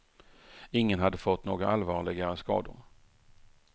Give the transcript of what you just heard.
Ingen hade fått några allvarligare skador.